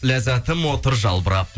ләззатым отыр жалбырап